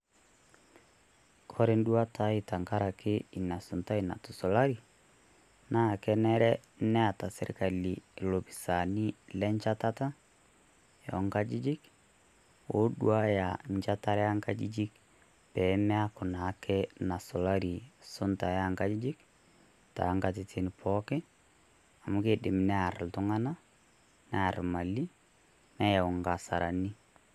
Ore enduata aii tenkaraki Ina suntai natusulari naa kenare Neeta sirkali ilopisaani lenchatata ongajijik loduaya enchatata oo ngajijik peemeku naa nasulari esunta oo ngajijik too Ngatitin pookin amu keidim near iltung'anak, near imali neayau inga'asarani.